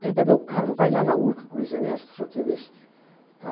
Pega meu carro, vai lá na Urca com o Luiz Ernesto, não sei o que, ver... Tá.